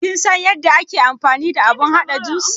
Kin san yadda ake amfani da abun haɗa jus?